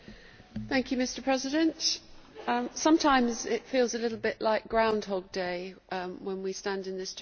Mr President, sometimes it feels a little bit like Groundhog Day' when we stand in this Chamber.